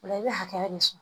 O la i bɛ hakɛ de fɔ